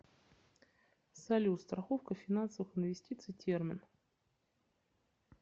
салют страховка финансовых инвестиций термин